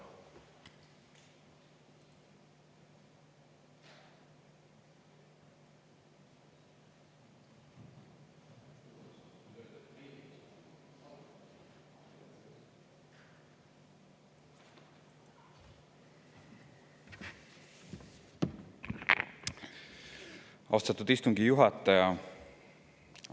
Austatud istungi juhataja!